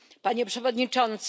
Panie Przewodniczący!